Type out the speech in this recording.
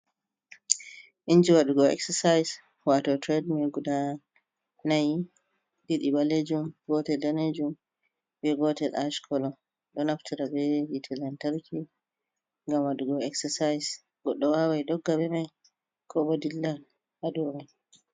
inji waɗugo eksasais wato tred mil guda nai. Ɗiɗi balejum, gotel daneejum, be gotel ash kolo. Ɗo naftira be yite lantarki, ngam waɗugo eksasais. Goɗɗo wawai dogga be mai, ko bo dilla ha dou mai.